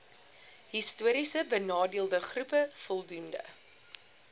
histories benadeeldegroepe voldoende